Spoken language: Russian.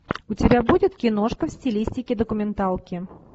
у тебя будет киношка в стилистике документалки